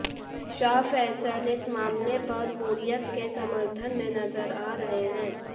शाह फैसल इस मामले पर हुर्रियत के समर्थन में नजर आ रहे हैं